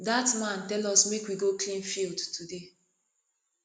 dat man tell us make we go clean field today